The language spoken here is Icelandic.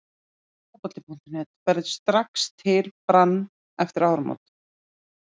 Fótbolti.net: Ferðu strax til Brann eftir áramót??